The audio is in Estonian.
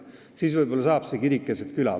Siis võib-olla saab see kirik keset küla.